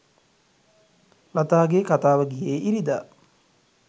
ලතාගේ කතාව ගියේ ඉරිදා